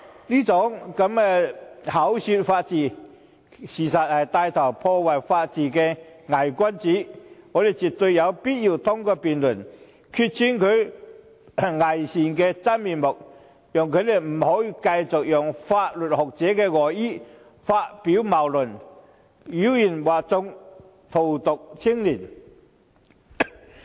這種口說法治，實則牽頭破壞法治的偽君子，我們絕對有必要通過辯論來拆穿他偽善的假面具，讓他不能繼續利用法律學者的外衣發表謬論，妖言惑眾，荼毒青年人。